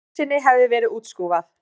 Jónssyni hefði verið útskúfað.